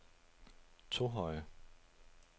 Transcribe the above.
Tohøje